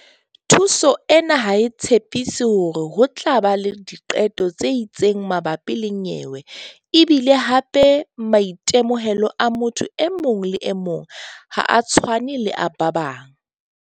Thuso ena ha e tshepiso hore ho tla ba le diqeto tse itseng mabapi le nyewe e bile hape maitemohelo a motho e mong le e mong ha a tshwane le a ba bang.